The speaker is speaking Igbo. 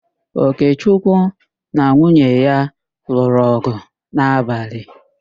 Okechukwu na nwunye ya lụrụ ọ̀gụ̀ n'abalị.